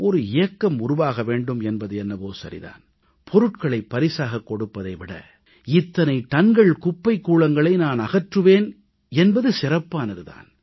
ஓர் இயக்கம் உருவாக வேண்டும் என்பது என்னவோ சரிதான் பொருட்களைப் பரிசாகக் கொடுப்பதை விட இத்தனை டன்கள் குப்பைக் கூளங்களை நான் அகற்றுவேன் என்பது சிறப்பானது தான்